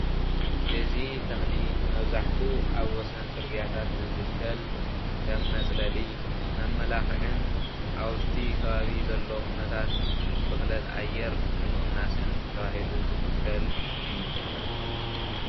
እዚ ተኽሊ መብዛሕቱ ኣብ ወሰን ፅርግያታት ዝትከል ከም መፅለሊ መመላኽዕን ኣፍቲ ከባቢ ዘሎ ኩነታት ብኽለት ኣየር ንምቕናስን ተባሂሉ ዝትከል እዩ።